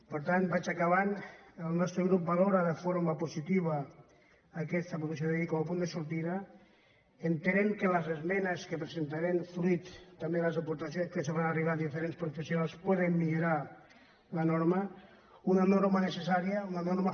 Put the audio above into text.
per tant vaig acabant el nostre grup valora de forma positiva aquesta proposició de llei com a punt de sortida entenent que les esmenes que presentarem fruit també de les aportacions que ens fan arribar diferents professionals poden millorar la norma una norma necessària una norma